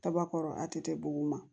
Kaba kɔrɔ a tɛ di bugun ma